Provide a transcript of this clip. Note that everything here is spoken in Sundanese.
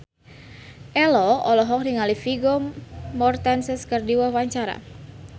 Ello olohok ningali Vigo Mortensen keur diwawancara